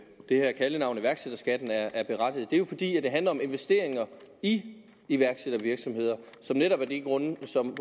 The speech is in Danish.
her kaldenavn iværksætterskatten er berettiget det er jo fordi det handler om investeringer i iværksættervirksomheder som netop af de grunde som